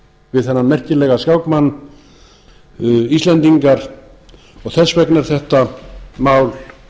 við þennan merkilega skákmann íslendingar og þess vegna er þetta mál